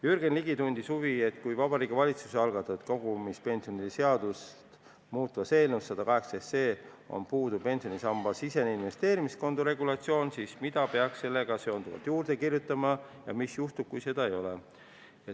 Jürgen Ligi tundis huvi, et kui Vabariigi Valitsuse algatatud kogumispensionide seadust muutvas eelnõus 118 on puudu pensionisambasisene investeerimiskonto regulatsioon, siis mida peaks sellega seonduvalt juurde kirjutama ja mis juhtub, kui seda ei ole.